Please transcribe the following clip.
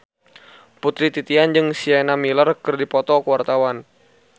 Putri Titian jeung Sienna Miller keur dipoto ku wartawan